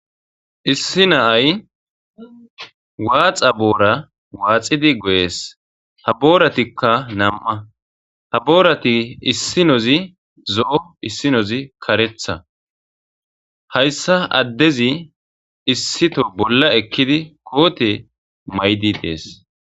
issi naay waaxa boora waaxidi go7ees ha booratikka nam7a ha boorati issinozi zo7o issinozi karetha hayssa addezi issito bolla ekkidi koote maydi dees